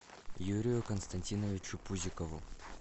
юрию константиновичу пузикову